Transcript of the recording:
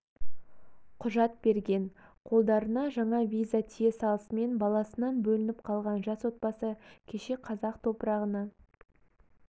құжат берген қолдарына жаңа виза тие салысымен баласынан бөлініп қалған жас отбасы кеше қазақ топырағына